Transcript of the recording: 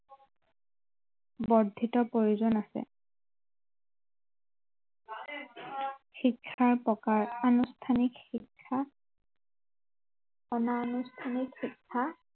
বৰ্দ্ধিত প্ৰয়োজন আছে শিক্ষাৰ প্ৰকাৰ অনুষ্ঠানিক শিক্ষা অনা অনুষ্ঠানিক শিক্ষা